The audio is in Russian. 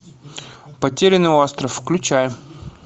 потерянный остров включай